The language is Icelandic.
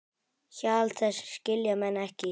Hjal þess skilja menn ekki.